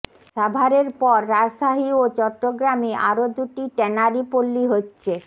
সাভারের পর রাজশাহী ও চট্টগ্রামে আরো দুটি ট্যানারি পল্লী হচ্ছে